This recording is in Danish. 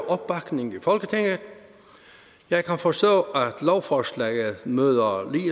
opbakning i folketinget jeg kan forstå at lovforslaget møder